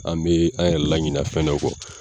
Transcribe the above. An bɛ an yɛrɛ laɲina fɛn dɔ kɔ